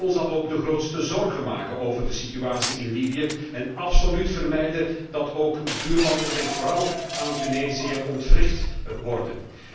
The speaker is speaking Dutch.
Wij moeten ons dan ook de grootste zorgen maken over de situatie in Libië en absoluut vermijden dat ook buurlanden ik denk vooral aan Tunesië ontwricht worden.